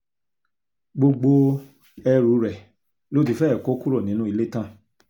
gbogbo ẹrù rẹ ló ti fẹ́ẹ̀ kó kúrò nínú ilé tán